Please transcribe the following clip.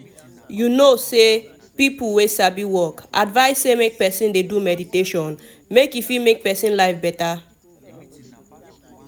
you know say people wey sabi work advice say make person dey do meditation make e fit make person life better.